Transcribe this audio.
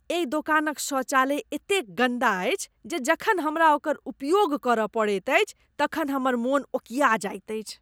एहि दोकानक शौचालय एतेक गन्दा अछि जे जखन हमरा ओकर उपयोग करय पड़ैत अछि तखन हमर मन ओकिया जायत अछि।